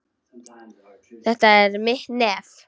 Þetta er mitt nef.